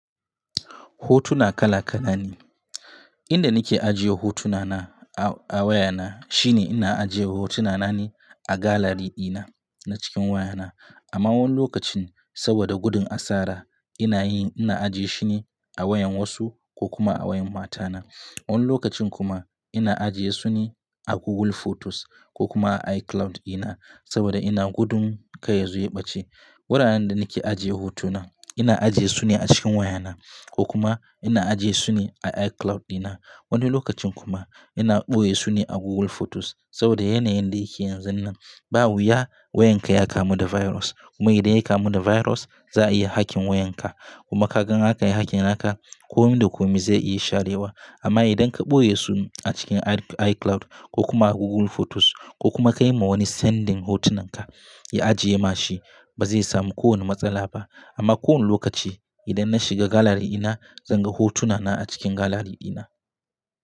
Hotuna kala-kalane. Inda nake ajiye hotuna na a waya na shine ina ajiye hotuna na ne a gallery dina na cikin waya na. Amma wani lokacin saboda gudun asara ina yin, ina ajiye shine a wayan wasu ko kuma a wayan matana. Wani lokacin kuma ina ajiye su ne a Google Photos ko kuma a iCloud ɗina saboda ina gudun ka yazo ya ɓace. Wuraren da nake ajiye hotuna, ina ajiye su ne a cikin waya na ko kuma ina ajiye su ne a iCloud ɗina. Wani lokacin kuma ina ɓoye su ne a Google Photos saboda yana yin da yake yanzu nan. Ba wuya wayan ka ya kamu da virus kuma idan ya kamu da virus za a iya hacking wayan ka. Kuma ka gan aka yi hacking haka, kome da kome zai iya sharewa. Amma idan ka ɓoye su a cikin iCloud ko kuma a Google Photos ko kuma ka yi ma wani sending hotunan ka, ya ajiye ma shi ba zai samu kowane matsala ba. Amma kowane lokaci idan na shiga gallery ɗina zan ga hotuna na a cikin gallery ɗina.